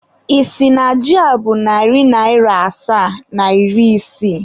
Ị sị na ji a bụ narị naịra asaa na iri isii?